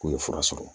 K'u ye fura sɔrɔ